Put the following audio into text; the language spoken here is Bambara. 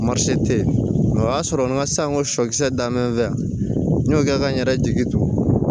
tɛ yen nka o y'a sɔrɔ n ka sanko sɔkisɛ danbe bɛ yan n y'o kɛ ka n yɛrɛ jigi to